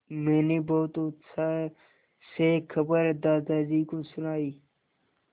मैंने बहुत उत्साह से खबर दादाजी को सुनाई